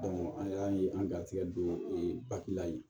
an y'an ye an ga garijɛgɛ don o ye la yen